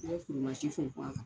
I bɛ funfun a kan.